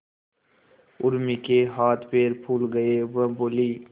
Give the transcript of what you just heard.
उर्मी के हाथ पैर फूल गए वह बोली